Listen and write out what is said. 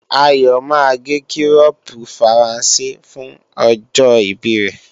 Ayọ̀ máa gé kírọ́pu Faransé fún ọjọ́ ìbí rẹ